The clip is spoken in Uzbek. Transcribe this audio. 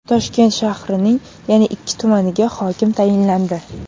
Toshkent shahrining yana ikki tumaniga hokim tayinlandi.